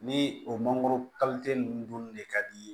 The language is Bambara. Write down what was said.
Ni o mangoro ninnu dunni ne ka di ye